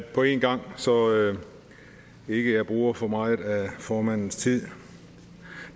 på en gang så jeg ikke bruger for meget af formandens tid